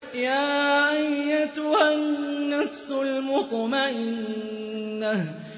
يَا أَيَّتُهَا النَّفْسُ الْمُطْمَئِنَّةُ